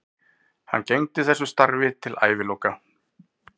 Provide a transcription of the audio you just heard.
Hann gegndi þessu starfi til æviloka.